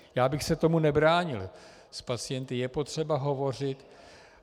Já bych se tomu nebránil, s pacienty je potřeba hovořit.